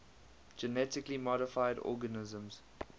genetically modified organisms